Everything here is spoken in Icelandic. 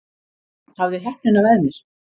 Hafði heppnina með mér